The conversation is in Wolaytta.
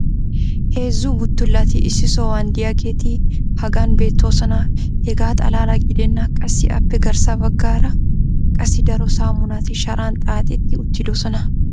Heezzu buttulati issi sohuwan diyaageeti hagan beetoosona. hegaa xalaala gidennan qassi appe garssa bagaara qassi daro saamunati sharan xaaxetti uttidosona.